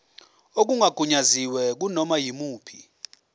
okungagunyaziwe kunoma yimuphi